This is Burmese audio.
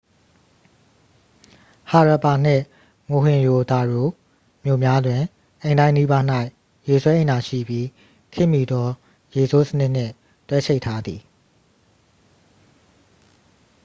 ဟာရပ်ပါနှင့် မိုဟင်ရို ဒါရို မြို့များတွင် အိမ်တိုင်းနီးပါး၌ ရေဆွဲအိမ်သာရှိပြီး ခေတ်မီသော ရေဆိုးစနစ်နှင့် တွဲချိတ်ထားသည်